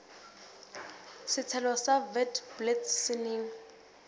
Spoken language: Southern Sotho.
setshelo sa witblits se neng